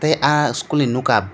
tei ah eschool ni nokam.